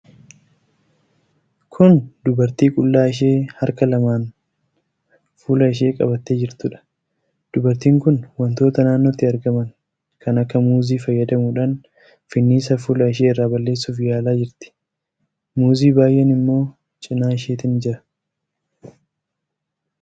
Kun dubartii qullaa ishee harka lamaan fuula ishee qabattee jirtuudha. Dubartiin kun wantoota naannootti argaman kan akka muuzii fayyadamuudhaan finniisa fuula ishee irraa balleessuuf yaalaan jirti. Muuzii baay'een immoo cina isheetiin jira.